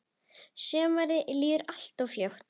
Sumarið líður alltof fljótt.